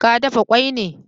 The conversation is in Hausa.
Ka dafa kwai ne?